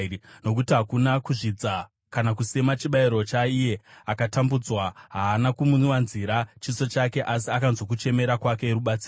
Nokuti haana kuzvidza kana kusema chibayiro chaiye akatambudzwa; haana kumuvanzira chiso chake, asi akanzwa kuchemera kwake rubatsiro.